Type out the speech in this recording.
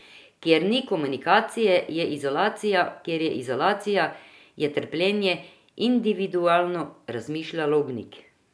Kjer ni komunikacije, je izolacija, kjer je izolacija, je trpljenje individualno, razmišlja Lobnik.